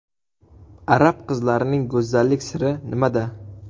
Arab qizlarining go‘zallik siri nimada?.